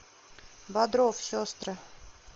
бодров сестры